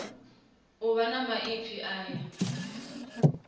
u vha na maipfi aya